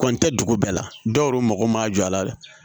Kɔni tɛ dugu bɛɛ la dɔw yɛrɛ mako ma jɔ a la